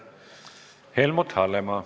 Helmut Hallemaa.